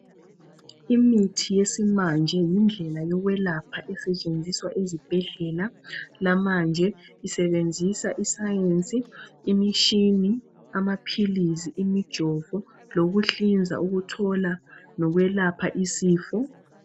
Imithi yesimanje yindlela yokwelapha esetshenziswa ezibhedlela. Lamanje ,isebenzisa isayensi ,imishini. Amaphilizi, imijovo, lokuhlinza ukuthola lokwelapha isifo.